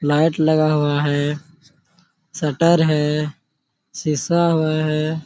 Light लगा हुआ है शटर है सीसा हुआ है।